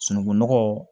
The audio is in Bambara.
Sunungunɔgɔ